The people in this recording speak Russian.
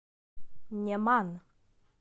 неман